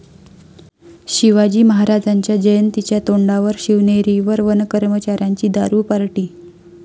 शिवाजी महाराजांच्या जयंतीच्या तोंडावर शिवनेरीवर वनकर्मचाऱ्यांची दारू पार्टी!